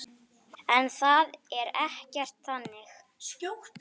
En það er ekkert þannig.